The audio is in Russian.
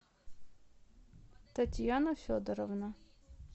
татьяна федоровна